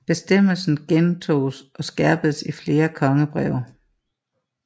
Bestemmelsen gentoges og skærpedes i flere kongebreve